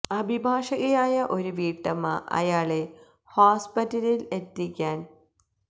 അഭിഭാഷകയായ ഒരു വീട്ടമ്മ അയാളെ ഹോസ്പിറ്റലിൽ എത്തിക്കാൻ ഒരു ക